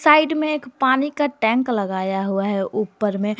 Side में एक पानी का टैंक लगाया हुआ है ऊपर में।